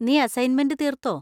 നീ അസ്സൈന്മെന്‍റ് തീർത്തോ?